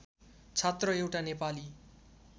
छात्र एउटा नेपाली